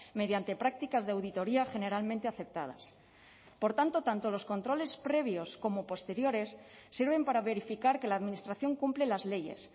mediante prácticas de auditoría generalmente aceptadas por tanto tanto los controles previos como posteriores sirven para verificar que la administración cumple las leyes